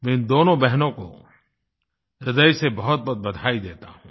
मैं इन दोनों बहनों को हृदय से बहुतबहुत बधाई देता हूँ